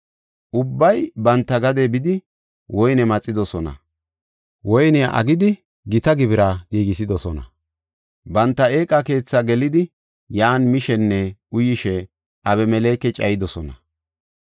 Ubbay banta gade bidi woyne maxidosona; woyniya aggidi gita gibira giigisidosona. Banta eeqa keethaa gelidi yan mishenne uyishe Abimeleke cayidosona.